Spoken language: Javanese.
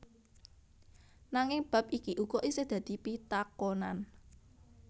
Nanging bab iki uga isih dadi pitakonan